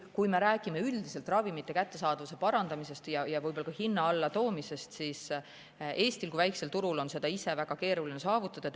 Kui me räägime üldiselt ravimite kättesaadavuse parandamisest ja võib-olla ka hinna allatoomisest, siis Eestil kui väikesel turul on seda ise väga keeruline saavutada.